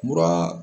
Mura